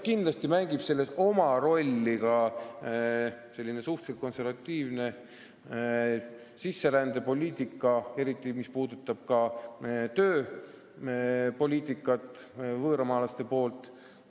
Kindlasti mängib selles oma rolli suhteliselt konservatiivne sisserändepoliitika, eriti mis puudutab meie tööpoliitikat võõramaalaste puhul.